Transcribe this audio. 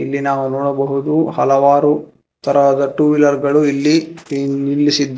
ಇಲ್ಲಿ ನಾವು ನೋಡಬಹುದು ಹಲವಾರು ತರದ ಟೂ ವೀಲರ್ ಗಳು ಇಲ್ಲಿ ನಿಲ್ಲಿಸಿದ್ದ--